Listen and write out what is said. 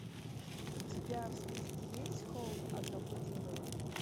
у тебя в списке есть холм одного дерева